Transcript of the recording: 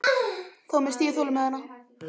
Þá missti ég þolinmæðina.